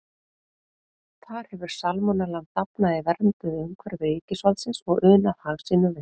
Þar hefur salmonellan dafnað í vernduðu umhverfi ríkisvaldsins og unað hag sínum vel.